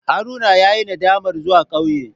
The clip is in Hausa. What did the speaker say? Haruna yayi nadamar zuwa kauye.